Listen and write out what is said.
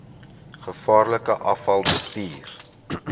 gevaarlike afval bestuur